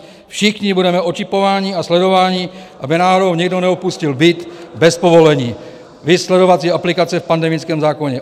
Všichni budeme očipováni a sledováni, aby náhodou někdo neopustil byt bez povolení, viz sledovací aplikace v pandemickém zákoně?